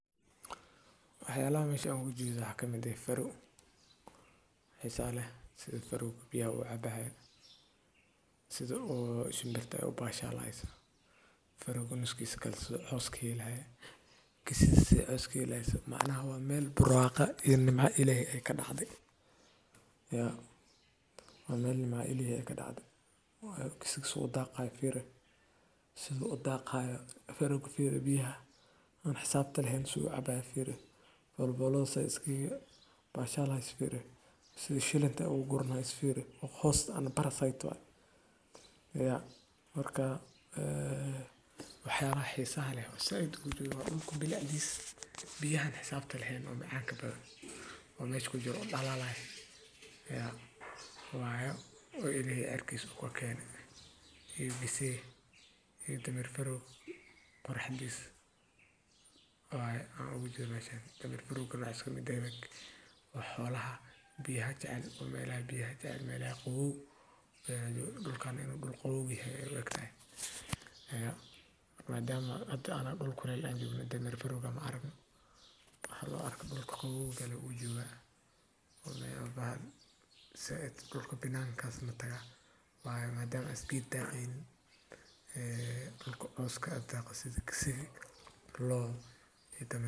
Waxyalaha meshan aan oga jedaa waxa waye, faro xisaale sida fargobya u cabaheeda si u shimbirta u baxsha lahayd faragano kiso qoski lahayd kisid si iski lahayd matnaha waa meel burraqa inima ilay ka dhacday. Iyo waan aneena ilay ka dhacday kisig su'u daqaa fiire siduu daqaa faro fi biyaa Xisaabta laheyn su'ecba fiir walbolo sa iskii bashaalays fiir shilanta ugurna is fiir qoys ana Barasay twaa. Yaar markaa a waxyaha xiisa leh isaguna bilaa dhiis biyan xisaabta laheyn oo caanka badan. Wanaaj ku jiro dhalla lahayn. Yaa waayo. Oo iyo erkiis u keeneen hirsii. Dhamir faro furax jis. Waaye ula gudbiyee demir Firukado isku mid ah. Wax holaha biyaha jace meelay biyaha jace meelay. Qowuul galkaan gol qowgu yee ayuu yiri. Madama aad ana gul ku leeyahay aniguna demir firu gam aragnu hadoo arkaku qowu galay u jiwaa oo meel baha sa eed galka binan kastma taga. Waaye ma dam as gid tacin ee kulku qas ka taqas kisigi loo taam yele.